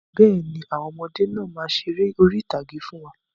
Bẹ́ẹ̀ni, àwọn ọmọdé náà má ṣeré orí ìtàgé fún wa.